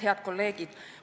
Head kolleegid!